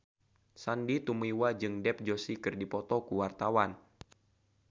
Sandy Tumiwa jeung Dev Joshi keur dipoto ku wartawan